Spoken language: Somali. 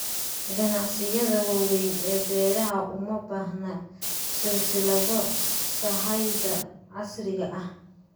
Ganacsiyada waaweyn ee beeraha uma baahna silsilado sahayda casriga ah.